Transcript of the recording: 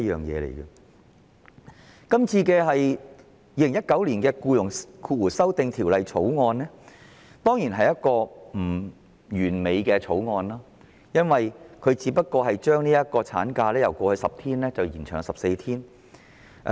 《2019年僱傭條例草案》當然並不完美，因為《條例草案》只建議將產假由過去10星期延長至14星期。